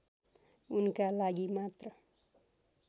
उनका लागि मात्र